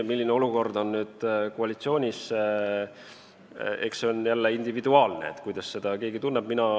Milline olukord on koalitsioonis, eks see on jälle individuaalne, kuidas keegi tunneb.